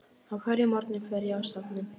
Á hverjum morgni fer ég á söfnin.